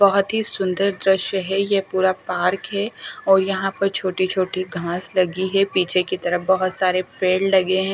बहुत ही सुंदर द्रश्य हैं ये पूरा पार्क हैं और यहाँ पर छोटी छोटी घास लगी हैं पीछे की तरफ बहुत सारे पेड़ लगे हैं ।